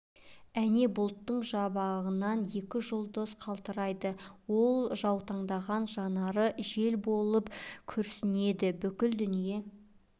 әне бұлттың жабығынан екі жұлдыз қалтырайды ол жаутаңдаған жанары жел болып күрсінеді бүкіл дүние